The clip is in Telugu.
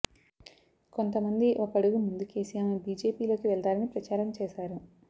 కొంతమంది ఒక అడుగు ముందుకేసి ఆమె బీజేపీలోకి వెళతారని ప్రచారం చేశారు